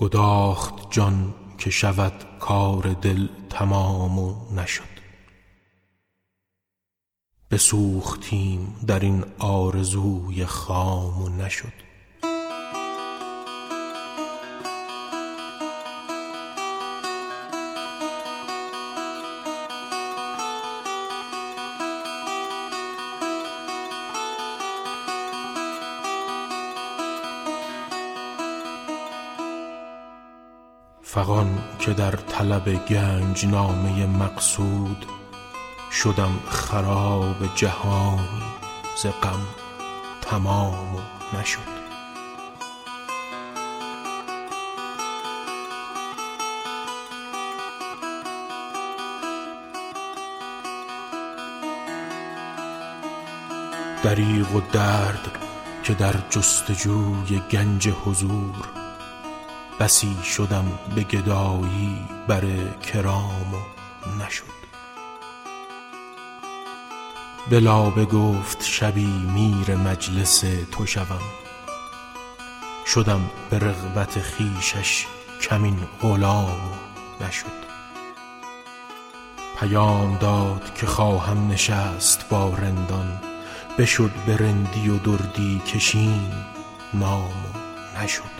گداخت جان که شود کار دل تمام و نشد بسوختیم در این آرزوی خام و نشد به لابه گفت شبی میر مجلس تو شوم شدم به رغبت خویشش کمین غلام و نشد پیام داد که خواهم نشست با رندان بشد به رندی و دردی کشیم نام و نشد رواست در بر اگر می تپد کبوتر دل که دید در ره خود تاب و پیچ دام و نشد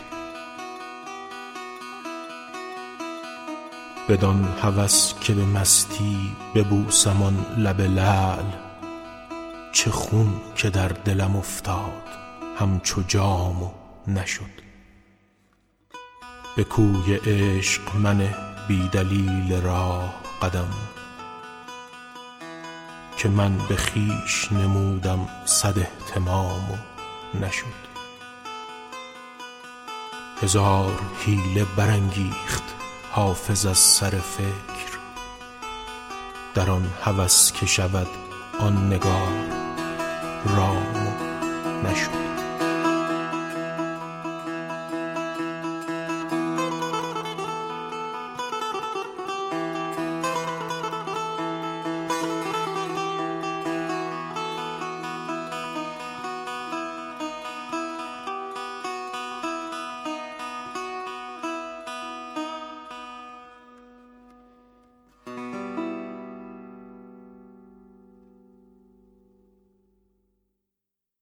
بدان هوس که به مستی ببوسم آن لب لعل چه خون که در دلم افتاد همچو جام و نشد به کوی عشق منه بی دلیل راه قدم که من به خویش نمودم صد اهتمام و نشد فغان که در طلب گنج نامه مقصود شدم خراب جهانی ز غم تمام و نشد دریغ و درد که در جست و جوی گنج حضور بسی شدم به گدایی بر کرام و نشد هزار حیله برانگیخت حافظ از سر فکر در آن هوس که شود آن نگار رام و نشد